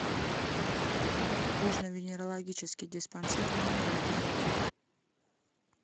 кожно венерологический диспансер номер один